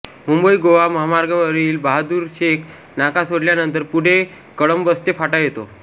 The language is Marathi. मुंबईगोवा महामार्गावरील बहादुरशेख नाका सोडल्यानंतर पुढे कळंबस्ते फाटा येतो